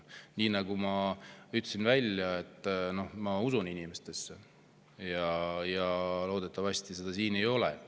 Nii nagu ma ütlesin, ma usun inimestesse ja loodan, et seda seal ei ole.